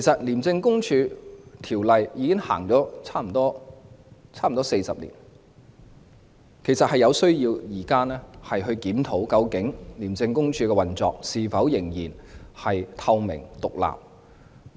《廉政公署條例》已經實施差不多40年，實在有需要檢討廉署的運作究竟是否仍然透明和獨立。